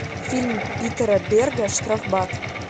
фильм питера берга штрафбат